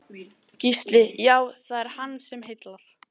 Gísli: Já, er það hann sem heillar?